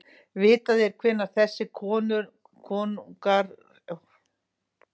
Vitað er hvenær þessir konungar ríktu og því hægt að aldursgreina peningana með nokkurri vissu.